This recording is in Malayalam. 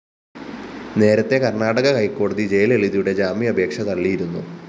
നേരത്തെ കര്‍ണാടക ഹൈക്കോടതി ജയലളിതയുടെ ജാമ്യാപേക്ഷ തള്ളിയിരുന്നു